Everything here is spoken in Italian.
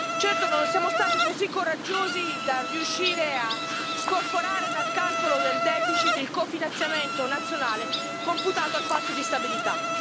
Certo, non siamo stati così coraggiosi da riuscire a scorporare dal calcolo del deficit il cofinanziamento nazionale computato al Patto di stabilità.